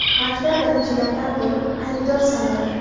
maktab birinchilardan bo‘lib aybdor sanaladi.